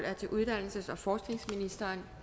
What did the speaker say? er til uddannelses og forskningsministeren